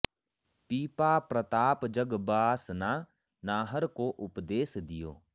पीपा प्रताप जग बासना नाहर को उपदेस दियो